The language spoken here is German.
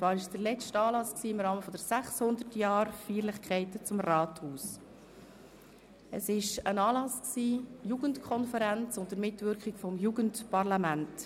Es war der letzte Anlass im Rahmen der 600Jahr-Feierlichkeiten des Rathauses, ein Anlass der Jugendkonferenz unter Mitwirkung des Jugendparlaments.